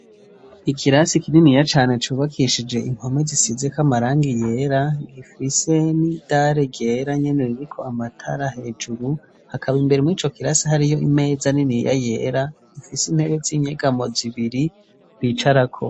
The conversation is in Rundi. Ikirasi kininiya cane cubakishijwe impome zisizeko amarangi yera gifise n'idare ryera nyene ririko amatara hejuru, hakaba imbere murico kirasi hariyo imeza niniya yera ifise intebe z'inyegamo zibiri bicarako.